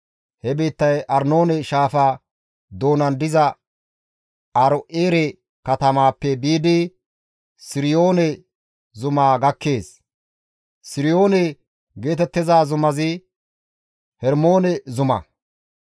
He biittay Arnoone Shaafa doonan diza Aaro7eere katamaappe biidi Siriyoone zumaa gakkees; Siriyoone geetettiza zumazi Hermoone zuma.